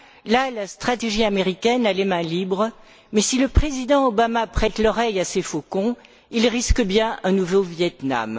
Là, la stratégie américaine a les mains libres, mais si le président Obama prête l'oreille à ses faucons, il risque bien un nouveau Vietnam.